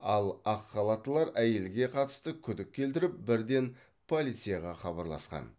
ал ақ халаттылар әйелге қатысты күдік келтіріп бірден полицияға хабарласқан